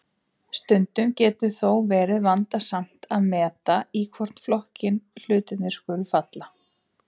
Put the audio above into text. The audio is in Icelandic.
Stundum getur þó verið vandasamt að meta í hvorn flokkinn hlutir skuli falla.